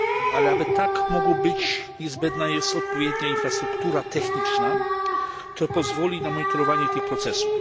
Ale aby tak mogło być niezbędna jest odpowiednia infrastruktura techniczna, która pozwoli na monitorowanie tych procesów.